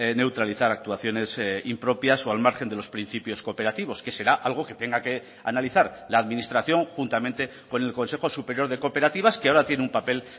neutralizar actuaciones impropias o al margen de los principios cooperativos que será algo que tenga que analizar la administración juntamente con el consejo superior de cooperativas que ahora tiene un papel